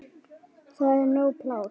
Það er nóg pláss.